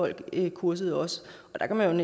learningkursus